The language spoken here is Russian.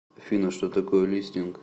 афина что такое листинг